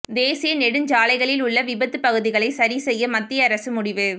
தேசிய நெடுஞ்சாலைகளில் உள்ள விபத்து பகுதிகளை சரி செய்ய மத்திய அரசு முடிவு